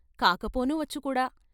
కాక పోనూ వచ్చుకూడా.